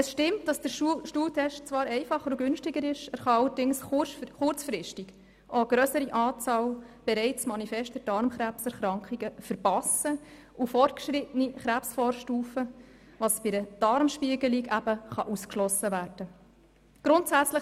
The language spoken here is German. Es stimmt, dass der Stuhltest zwar einfacher und günstiger ist, er kann allerdings kurzfristig auch eine grössere Anzahl bereits manifester Darmkrebserkrankungen und fortgeschrittener Krebsvorstufen verpassen, was bei einer Darmspiegelung ausgeschlossen werden kann.